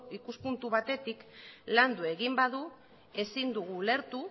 ikuspuntu batetik landu egin badu ezin dugu ulertu